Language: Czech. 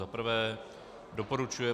za prvé doporučuje